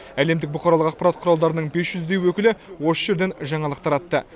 әлемдік бұқаралық ақпарат құралдарының бес жүздей өкілі осы жерден жаңалық таратты